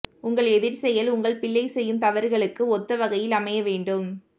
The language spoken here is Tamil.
உங்கள் எதிர்செயல் உங்கள் பிள்ளை செய்யும் தவறுகளுக்கு ஒத்த வகையில் அமைய வேண்டும்